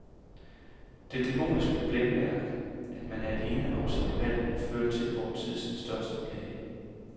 Det dæmoniske blændværk, at man er alene om sine valg, fører til vor tids største plage.